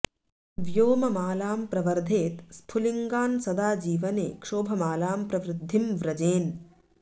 व्योममालां प्रवर्धेत् स्फुलिंङ्गान् सदा जीवने क्षोभमालां प्रवृद्धिं व्रजेन्